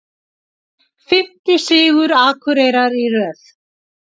Fimmti sigur Akureyrar í röð